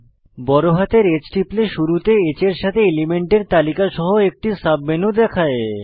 বড়হাতের H টিপলে শুরুতে H এর সাথে এলিমেন্টের তালিকা সহ একটি সাবমেনু দেখায়